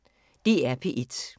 DR P1